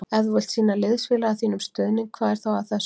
Ef þú vilt sýna liðsfélaga þínum stuðning hvað er þá að þessu?